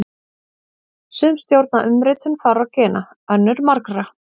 Sum stjórna umritun fárra gena, önnur margra.